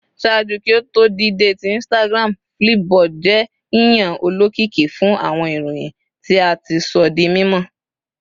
Ṣaaju ki o to dide ti Instagram, Flipboard jẹ yiyan olokiki fun awọn iroyin ti a ti sọ di mimọ